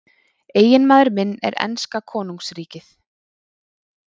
Eiginmaður minn er enska konungsríkið.